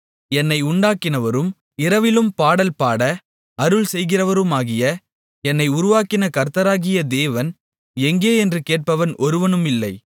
என்னை உண்டாக்கினவரும் இரவிலும் பாடல்பாட அருள்செய்கிறவருமாகிய என்னை உருவாக்கின கர்த்தராகிய தேவன் எங்கே என்று கேட்பவன் ஒருவனுமில்லை